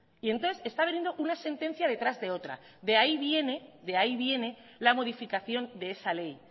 y entonces está viniendo una sentencia de otra de ahí viene la modificación de esa ley